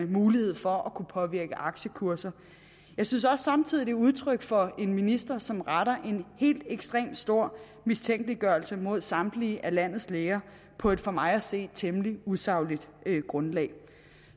mulighed for at kunne påvirke aktiekurser jeg synes samtidig er udtryk for en minister som retter en helt ekstremt stor mistænkeliggørelse mod samtlige landets læger på et for mig at se temmelig usagligt grundlag